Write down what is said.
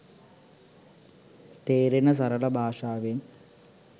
තේරෙන සරල භාෂාවෙන්.